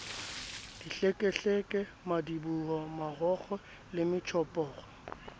dihlekehleke madiboho marokgo le metjhophoro